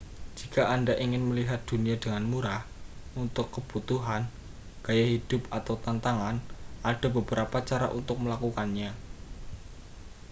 jika anda ingin melihat dunia dengan murah untuk kebutuhan gaya hidup atau tantangan ada beberapa cara untuk melakukannya